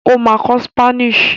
O ma kọ Spanish